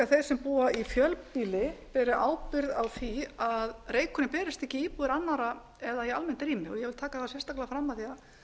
þeir sem búa í fjölbýli beri ábyrgð á því að reykurinn berist ekki í íbúðir annarra eða í almennt rými ég vil taka það sérstaklega fram að